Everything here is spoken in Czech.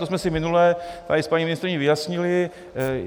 To jsme si minule tady s paní ministryní vyjasnili.